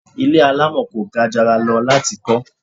Ilé alamọ kò gajara lọ láti kọ